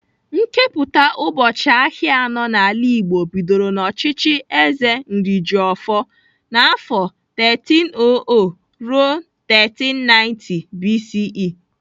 Nkepụta ubọchị ahịa anọ n'ala Igbo bidoro n'ọchịchị Eze Nrijiofor n'afọ 1300-1390 BCE.